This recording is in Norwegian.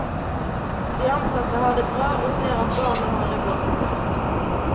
De ansatte har det bra, og ser at barna har det godt.